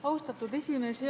Austatud esimees!